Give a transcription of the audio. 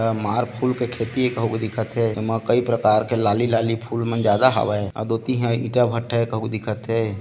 अ मार फ़ूल के खेती ए कहुंक के दिखत हे एमा कई प्रकार के लाली लाली फुल मन ज्यादा हवय अउ दोती इहाँ ईंटा भट्ठा ए कहुंक दिखत हे।